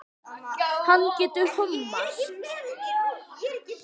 Hann getur lofað því.